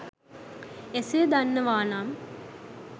එසේ දන්නවා නම්